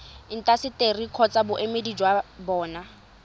intaseteri kgotsa boemedi jwa bona